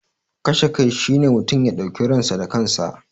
Kashe kai shi ne mutum ya dauki ransa da kansa.